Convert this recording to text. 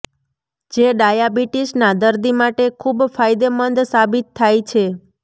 જે ડાયાબિટિસના દર્દી માટે ખૂબ ફાયદેમંદ સાબિત થાય છે